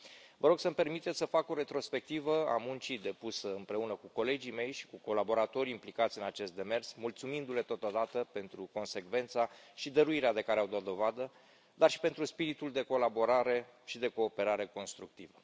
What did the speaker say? Vă rog să mi permiteți să fac o retrospectivă a muncii depuse împreună cu colegii mei și cu colaboratorii implicați în acest demers, mulțumindu le totodată pentru consecvența și dăruirea de care au dat dovadă, dar și pentru spiritul de colaborare și de cooperare constructivă.